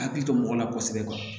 Hakili to mɔgɔ la kosɛbɛ